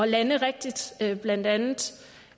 lande rigtigt blandt andet